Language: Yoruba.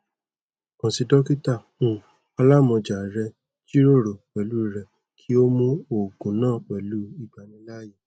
kan si dokita um alamọja rẹ jiroro pẹlu rẹ ki o mu oogun naa pẹlu igbanilaaye